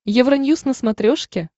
евроньюз на смотрешке